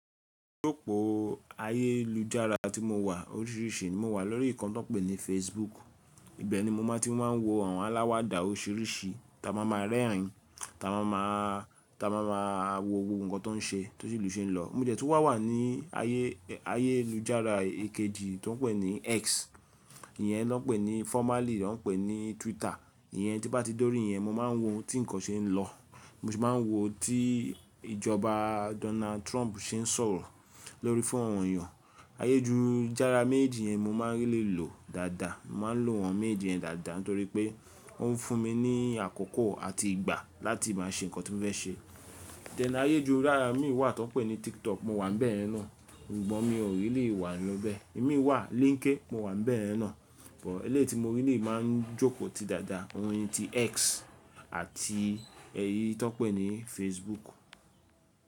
Opo ayélujára tí mo wà oríṣìríṣì ni mo wà lórí ikan tó n pè ní Facebook. Ibẹ̀ ni mo má ti máa ń wo àwọn aláwàdà oríṣìríṣì táa ma ma rẹ́rìn, táa ma ma, táa ma ma wo gbogbo nǹkan tó n ṣe, tó selù se ń lọ. Mo dẹ̀ tun wà wà ní ayé, ayélujára èkejì tó n pè ní X. Iyẹn ló n pè ní formerly ó n pè ní Twitter. Iyẹn tí n bá ti dórí iyẹn mo máa n wo tí nǹkan ṣe ń lọ. Mo sì máa n wo tí ìjọba Donald Trump ṣe ń sọ̀rọ̀ lórí fóonu àwọn eeyan. Ayélujára méjì yẹn mo má n really lò dáadáa. Mo má a n lò awọ́n méjeji yẹn dáadáa nítorí pé ó ń fún mi ní àkókò àti ìgbà láti má a ṣe nǹkan tí mo fẹ́ ṣe. Then ayélujára míi wà tan pè ní TikTok mo wà n bẹyẹn, ṣùgbọ́n mi ò really wa nibẹ́. Emi wà LinkedIn mo wà bẹ́yẹn náà, bọ̀ eleyi ti mo really máa n jókòó ti dáadáa, oyè tí X àti ẹyí tan pè ní Facebook.